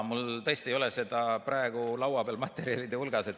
Mul tõesti ei ole seda praegu laua peal materjalide hulgas.